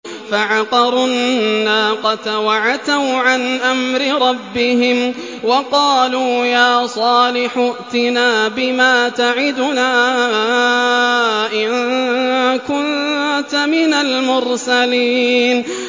فَعَقَرُوا النَّاقَةَ وَعَتَوْا عَنْ أَمْرِ رَبِّهِمْ وَقَالُوا يَا صَالِحُ ائْتِنَا بِمَا تَعِدُنَا إِن كُنتَ مِنَ الْمُرْسَلِينَ